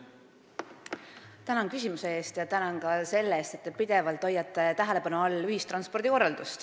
Tänan küsimuse eest ja ka selle eest, et te hoiate ühistranspordi korraldust pidevalt tähelepanu all!